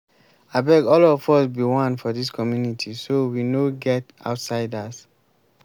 abeg all of us be one for dis community so we no get outsiders